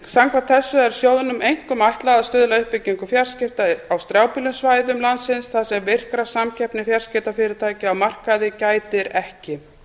samkvæmt þessu er sjóðnum einkum ætlað að stuðla að uppbyggingu fjarskipta á strjálbýlum svæðum landsins þar sem virkrar samkeppni fjarskiptafyrirtækja á markaði gætir ekki